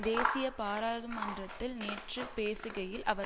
தேசிய பாராதுமன்றத்தில் நேற்று பேசுகையில் அவர்